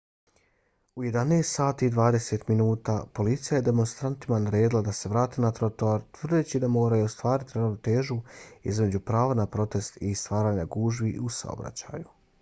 u 11:20 sati policija je demonstrantima naredila da se vrate na trotoar tvrdeći da moraju ostvariti ravnotežu između prava na protest i stvaranja gužvi u saobraćaju